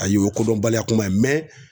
Ayi o kodɔnbaliya kuma ye